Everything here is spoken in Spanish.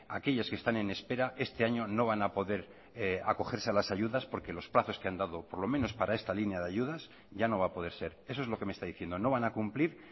aquellas que están en espera este año no van a poder acogerse a las ayudas porque los plazos que han dado por lo menos para esta línea de ayudas ya no va a poder ser eso es lo que me está diciendo no van a cumplir